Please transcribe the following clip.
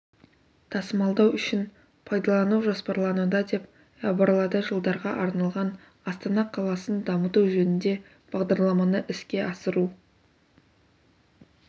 тасымалдау үшін пайдалану жоспарлануда деп іабарлады жылдарға арналған астана қаласын дамыту жөнінде бағдарламаны іске асыру